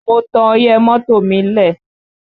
Mo tan ọyẹ́ mọ́tò mi lẹ̀